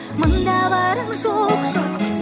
мында барам жоқ жоқ